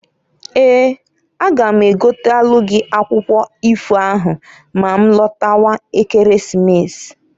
Eeǃ A ga m egotelu gị akwụkwụ ifo ahụ ma ma lọtawa Ekeresimesi.